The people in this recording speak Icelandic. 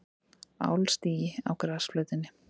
Álstigi á grasflötinni.